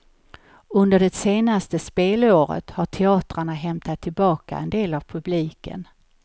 Under det senaste spelåret har teatrarna hämtat tillbaka en del av publiken.